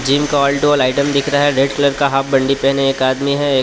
gym का lighting दिख रहा है रेड कलर का हाफ बंडी पहने एक आदमी है एक --